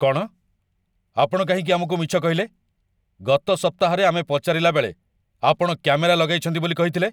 କ'ଣ? ଆପଣ କାହିଁକି ଆମକୁ ମିଛ କହିଲେ, ଗତ ସପ୍ତାହରେ ଆମେ ପଚାରିଲାବେଳେ ଆପଣ କ୍ୟାମେରା ଲଗାଇଛନ୍ତି ବୋଲି କହିଥିଲେ?